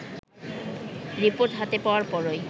report হাতে পাওয়ার পরই